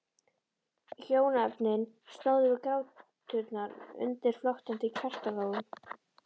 Hjónaefnin stóðu við gráturnar undir flöktandi kertalogum.